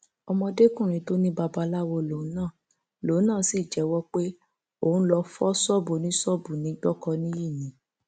ọmọdékùnrin tó ní babaláwo lòun náà lòun náà sì jẹwọ pé òun lóo fọ ṣọọbù oníṣọọbù ní gbọkọnìyí ni